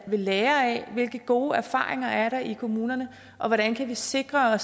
ved lære af hvilke gode erfaringer der er i kommunerne og hvordan vi kan sikre